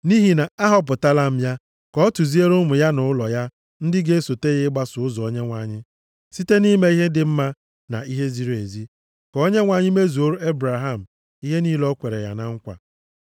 Nʼihi na ahọpụtala m ya, ka ọ tụziere ụmụ ya na ụlọ ya ndị ga-esote ya ịgbaso ụzọ Onyenwe anyị site nʼime ihe dị mma na ihe ziri ezi, ka Onyenwe anyị mezuoro Ebraham ihe niile o kwere ya na nkwa.”